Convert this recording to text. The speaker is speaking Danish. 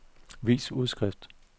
vis udskrift